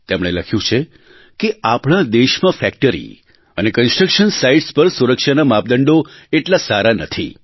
તેમણે લખ્યું છે કે આપણા દેશમાં ફેક્ટરી અને કન્સ્ટ્રક્શન સાઇટ્સ પર સુરક્ષાના માપદંડો એટલા સારા નથી